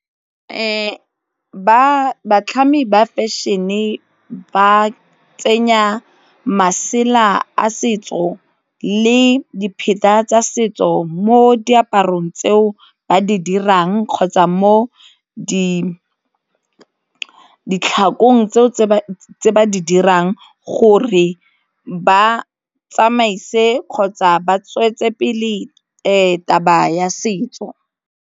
Batlhami ba fashion-e ba tsenya masela a setso le dipheta tsa setso mo diaparong tseo ba di dirang kgotsa mo di ke ditlhakong tseo tse ba di dirang gore ba tsamaise kgotsa ba tswetse pele taba ya setso.